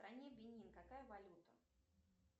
в стране бенин какая валюта